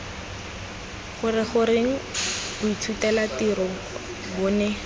gore goreng boithutelatirong bo ne